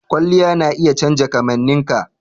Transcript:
Kwalliya na iya canja kamanninka.